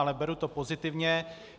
Ale beru to pozitivně.